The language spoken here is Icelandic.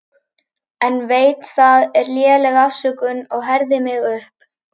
En veit það er léleg afsökun og herði mig upp.